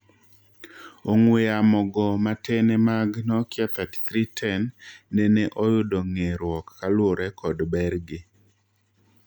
Ong'wee yamo go matene mag Nokia 3310 nene oyudo ng'eeruok kaluore kod ber gi.